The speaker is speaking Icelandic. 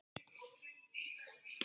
Tuttugu ár í röð.